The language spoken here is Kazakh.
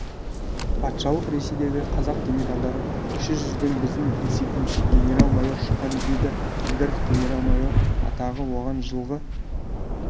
патшалық ресейдегі қазақ генералдары кіші жүзден біздің есебімізше генерал-майор шыққан дейді әбдіров генерал-майор атағы оған жылғы